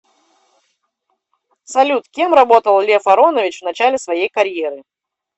салют кем работал лев аронович в начале своей карьеры